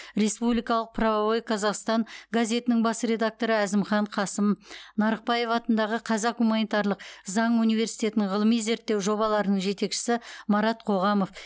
республикалық правовой казахстан газетінің бас редакторы әзімхан қасым нарықбаев атындағы қазақ гуманитарлық заң университетінің ғылыми зерттеу жобаларының жетекшісі марат қоғамов